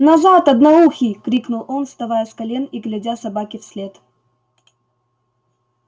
назад одноухий крикнул он вставая с колен и глядя собаке вслед